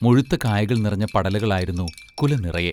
മുഴുത്ത കായകൾ നിറഞ്ഞ പടലകളായിരുന്നു കുല നിറയെ.